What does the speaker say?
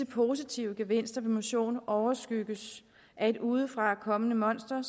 positive gevinster ved motion overskygges af et udefrakommende monster